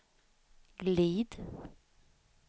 glid